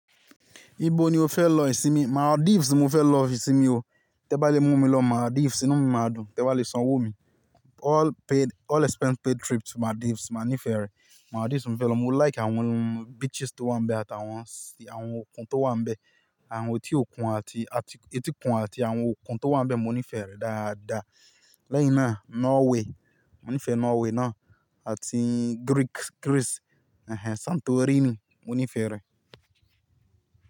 Ibo ni o fẹ́ lọ ìsinmi? Maldives mo fẹ́ lọ ìsinmi o, tẹ́ ba lè mú mi lọ Maldives inú mi máa dùn, tẹ́ ba lè sanwó mi. All paid, all expense paid trip to Maldives, màá nífẹ̀ẹ́ rẹ̀. Maldives mo fẹ́ lọ, mo like àwọn beaches tó wà ń bẹ àti àwọn, àwọn òkun tó wà ń bẹ, àwọn etí òkun àti, àti etí kun àti àwọn òkun tó wà ń bẹ mo nífẹ̀ẹ́ rẹ̀ dáadáa. Lẹ́yìn náà Norway, mo nífẹ̀ẹ́ Norway náà àti Greek, Greece, Santorini mo nífẹ̀ẹ́ rẹ̀.